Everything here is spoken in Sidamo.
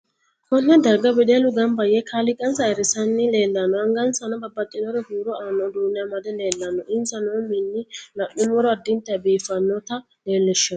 Konne darga wedellu ganba yee kaaliqansa ayiirisanni leelanno angasanni babbaxinore huuro aanno uduune amede leelanno insa noo mini la'numoro addintanni biifinota leelishanno